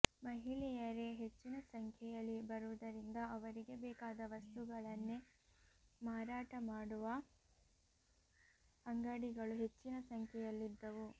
ಮಹಿಳೆಯರೇ ಹೆಚ್ಚಿನ ಸಂಖ್ಯೆಯಲ್ಲಿ ಬರುವುದರಿಂದ ಅವರಿಗೆ ಬೇಕಾದ ವಸ್ತುಗಳನ್ನೇ ಮಾರಾಟ ಮಾಡುವ ಅಂಗಡಿಗಳು ಹೆಚ್ಚಿನ ಸಂಖ್ಯೆಯಲ್ಲಿದ್ದವು